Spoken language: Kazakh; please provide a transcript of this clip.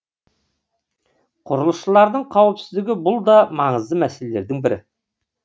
құрылысшылардың қауіпсіздігі бұл да маңызды мәселелердің бірі